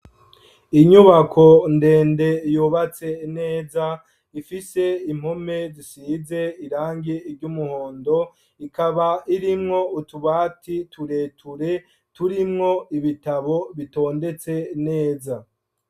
Inyubako ndende yubatse neza ifise impome zisize irangi ry'umuhondo, ikaba irimwo utubati tureture turimwo ibitabo bitondetse neza.